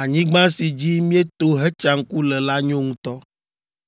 “Anyigba si dzi míeto hetsa ŋku le la nyo ŋutɔ.